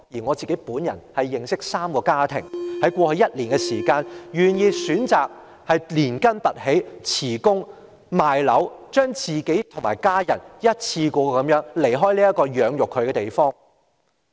我自己也認識3個家庭，在過去一年，選擇連根拔起，辭職、賣樓，與家人一次過離開這個養育他們的地方。